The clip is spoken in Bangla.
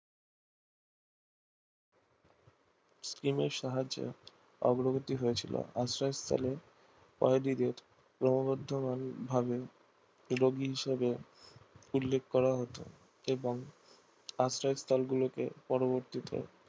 টিম আর সাহাজ্য অগ্রগতি হয়েছিল আশ্রয় স্থল কয়েদিদের ভাবে উল্লিখ করা হতো এবং আশ্রয় স্থল গুলিকে পরবর্তীতে